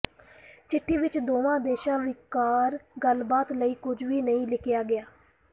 ਚਿੱਠੀ ਵਿਚ ਦੋਵਾਂ ਦੇਸ਼ਾਂ ਵਿਚਕਾਰ ਗੱਲਬਾਤ ਲਈ ਕੁਝ ਵੀ ਨਹੀਂ ਲਿਖਿਆ ਗਿਆ